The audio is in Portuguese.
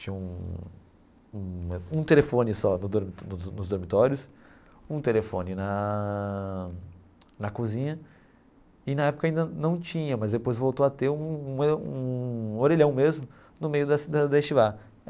Tinha um um um telefone só no dor nos nos dormitórios, um telefone na na cozinha, e na época ainda não tinha, mas depois voltou a ter um um orelhão mesmo no meio da da da.